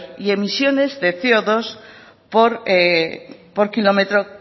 y emisiones de ce o dos por km